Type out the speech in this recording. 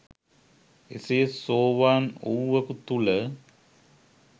එසේ සෝවාන් වූවකු තුල